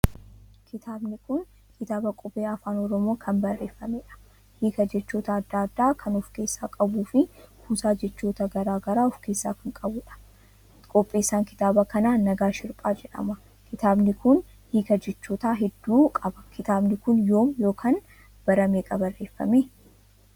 Kitaabni kun kitaaba qubee Afaan Oromoo kan barreeffameedha. hiika jechoota adda addaa kan ofkeessa qabuufi kuusaa jechoota garaagaraa ofkeessa kan qabuudha qopheessaan kitaaba kanaa Nagaash Hirphaa jedhama. Kitaabni kun hiika jechoota hedduu qaba kitaabni kun yoom ykn bara meeqa barreeffame